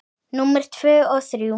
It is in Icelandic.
Númer tvö og þrjú.